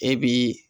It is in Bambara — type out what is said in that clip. E bi